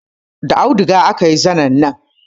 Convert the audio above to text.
Da auduga aka yi zanin nan